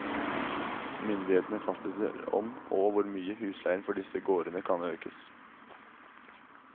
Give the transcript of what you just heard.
Myndighetene fastsetter om, og hvor mye, husleien for disse gårdene kan økes.